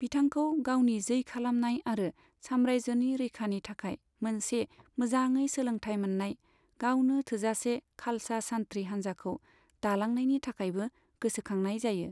बिथांखौ गावनि जै खालामनाय आरो साम्रायजोनि रैखानि थाखाय मोनसे मोजाङै सोलोंथाय मोननाय, गावनो थोजासे खालसा सान्थ्रि हान्जाखौ दालांनायनि थाखायबो गोसोखांनाय जायो।